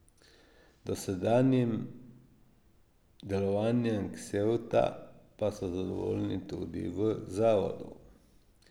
Z dosedanjim delovanjem Ksevta pa so zadovoljni tudi v zavodu.